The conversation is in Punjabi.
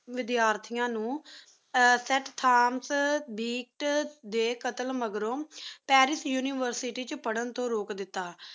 ਵਿਦਿਆਰਥੀਆਂ ਨੂੰ ਬੀਟ ਦੇ ਕਤਲ ਮੈਗਰੀ ਪੈਰਿਸ ਯੂਨੀਵਰਸਿਟੀ ਚ ਪੜ੍ਹਨ ਤੋਂ ਰੋਕ ਦਿੱਤਾ